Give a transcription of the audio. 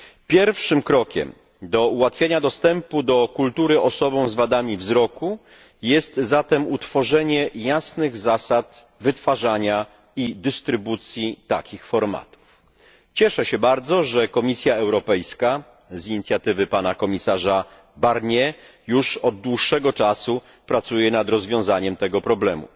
Pierwszym krokiem do ułatwienia dostępu do kultury osobom z wadami wzroku jest zatem utworzenie jasnych zasad wytwarzania i dystrybucji takich formatów. Cieszę się bardzo, że Komisja Europejska z inicjatywy pana komisarza Barniera już od dłuższego czasu pracuje nad rozwiązaniem tego problemu.